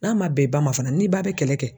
N'a man bɛn i ba ma fana n'i ba bɛ kɛlɛ kɛ.